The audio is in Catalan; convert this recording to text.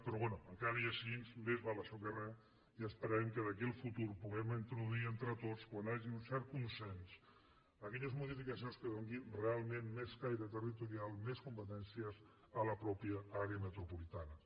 però bé tot i així més val això que res i esperem que d’aquí al futur puguem introduir entre tots quan hi hagi un cert consens aquelles modificacions que donin realment més caire territorial més competències a la mateixa àrea metropolitana